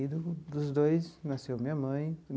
E dos dois nasceu minha mãe.